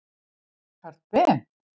Karl Ben.